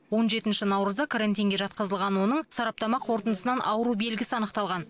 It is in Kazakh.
он жетінші наурызда карантинге жатқызылған оның сараптама қорытындысынан ауру белгісі анықталған